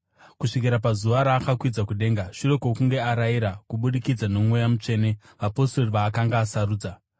kusvikira pazuva raakakwidzwa kudenga, shure kwokunge arayira, kubudikidza noMweya Mutsvene, vapostori vaakanga asarudza.